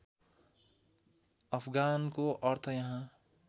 अफगानको अर्थ यहाँ